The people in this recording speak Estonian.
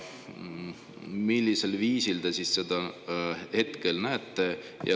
Millisel viisil te seda hetkel näete?